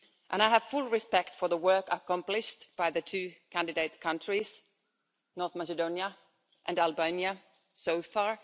I have full respect for the work accomplished by the two candidate countries, North Macedonia and Albania, so far.